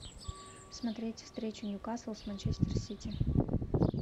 смотреть встречу ньюкасл с манчестер сити